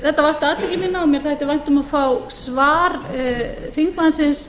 þetta vakti athygli mína og mér þætti vænt um að fá svar þingmannsins